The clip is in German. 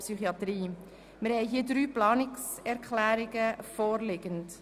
Es liegen drei Planungserklärungen vor.